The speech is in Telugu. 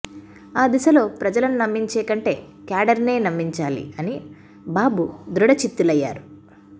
ఆ దిశలో ప్రజలను నమ్మించే కంటే క్యాడర్నే నమ్మించాలి అని బాబు దృఢచిత్తులయ్యారు